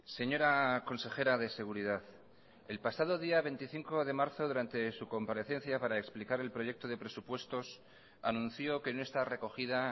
señora consejera de seguridad el pasado día veinticinco de marzo durante su comparecencia para explicar el proyecto de presupuestos anunció que no está recogida